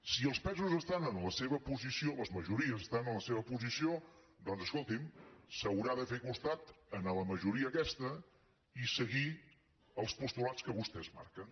si els pesos estan en la seva posició les majories estan en la seva posició doncs escolti’m s’haurà de fer costat a la majoria aquesta i seguir els postulats que vostès marquen